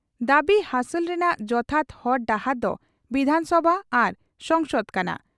ᱫᱟᱵᱤ ᱦᱟᱥᱚᱞ ᱨᱮᱱᱟᱜ ᱡᱚᱛᱷᱟᱛ ᱦᱚᱨ ᱰᱟᱦᱟᱨ ᱫᱚ ᱵᱤᱫᱷᱟᱱᱥᱚᱵᱷᱟ ᱟᱨ ᱥᱚᱝᱥᱚᱫ ᱠᱟᱱᱟ ᱾